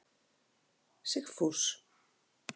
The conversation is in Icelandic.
Sigfús